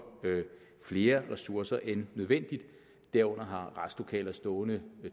flere ressourcer end nødvendigt herunder har retslokaler stående